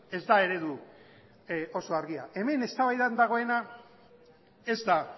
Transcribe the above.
ez da eredu oso argia hemen eztabaidan dagoena ez da